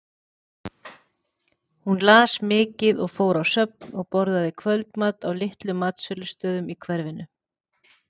Hún las mikið og fór á söfn og borðaði kvöldmat á litlum matsölustöðum í hverfinu.